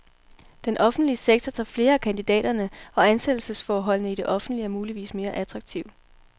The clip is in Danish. Den offentlige sektor tager flere af kandidaterne, og ansættelsesforholdene i det offentlige er muligvis mere attraktive.